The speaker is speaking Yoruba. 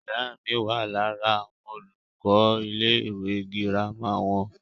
ìyá mi wà lára àwọn olùkọ́ ilé ìwé girama wọn